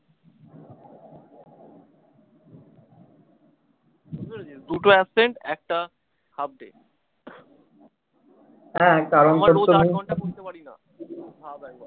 দুটো absent একটা half day